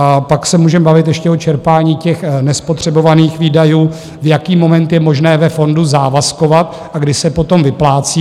A pak se můžeme bavit ještě o čerpání těch nespotřebovaných výdajů, v jaký moment je možné ve fondu závazkovat a kdy se potom vyplácí.